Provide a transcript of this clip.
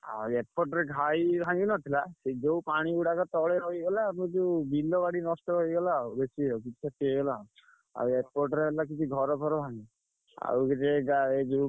ଆଉ ଏପଟରେ ଘାଇ ଭାଙ୍ଗି ନ ଥିଲା ଯୋଉ ପାଣିଗୁଡା ତଳେ ରହିଗଲା ଆମର ଯୋଉ ବିଲବାଡି ନଷ୍ଟ ହେଇଗଲା ଆଉ ଏପଟରେ କିଛି ଘରଫର ଭାଂଗିନି।